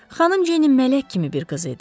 Xanım Jenny mələk kimi bir qız idi.